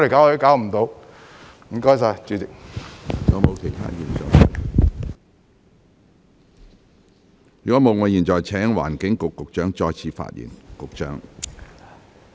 如果沒有，我現在請環境局局長再次發言。